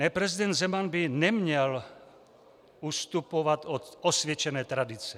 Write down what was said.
Ne, prezident Zeman by neměl ustupovat od osvědčené tradice.